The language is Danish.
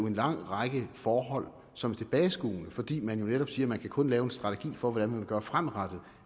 en lang række forhold som er tilbageskuende fordi man jo netop siger at man kun kan lave en strategi for hvordan man vil gøre fremadrettet